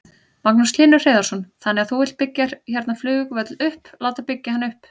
Magnús Hlynur Hreiðarsson: Þannig að þú vilt byggja hérna flugvöll upp, láta byggja hann upp?